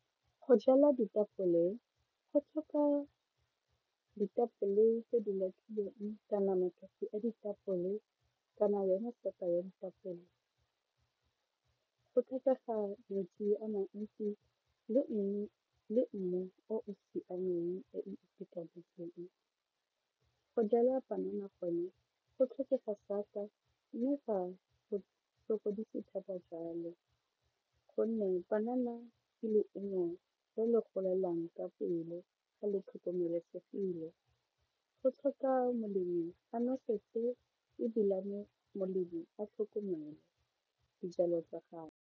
Go jala ditapole go tlhoka ditapole tse di latlhilweng kana nama gore a ditapole kana ya metsi go tlhokega metsi a mantsi le mmu o o siameng o itekanetseng, go jala panana gone go tlhokega sata mme fa go sokodise thata jalo gonne banana ke leungo le le golelang ka pelo a le tlhokomelesegile go tlhoka molemi a noseditse ebilane molemi a tlhokomelo dijalo tsa gagwe.